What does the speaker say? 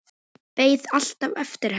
Beið alltaf eftir henni.